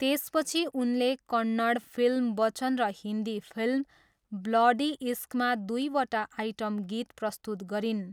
त्यसपछि उनले कन्नड फिल्म बच्चन र हिन्दी फिल्म ब्लडी इश्कमा दुईवटा आइटम गीत प्रस्तुत गरिन्।